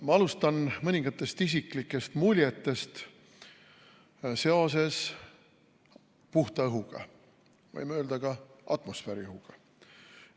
Ma alustan mõningatest isiklikest muljetest seoses puhta õhuga, võime öelda ka, et atmosfääriõhuga.